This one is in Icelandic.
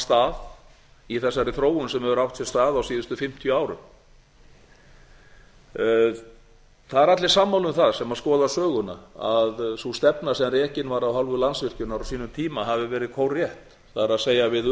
stað í þessari þróun sem hefur átt sér stað á síðustu fimmtíu árum það eru allir sammála um það sem skoða söguna að sú stefna sem rekin var af hálfu landsvirkjunar á sínum tíma hafi verið kórrétt það er við